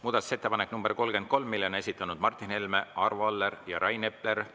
Muudatusettepaneku nr 33 on esitanud Martin Helme, Arvo Aller ja Rain Epler.